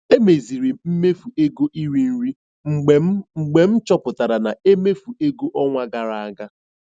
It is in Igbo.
Emeziri m mmefu ego iri nri mgbe m mgbe m chọpụtachara na emefu ego n'ọnwa gara aga.